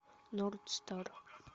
нордстар